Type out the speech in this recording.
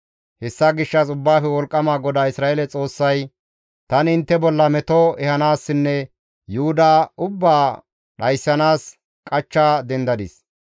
«Hessa gishshas Ubbaafe Wolqqama GODAA Isra7eele Xoossay, ‹Tani intte bolla meto ehanaassinne Yuhuda ubbaa dhayssanaas qachcha dendadis.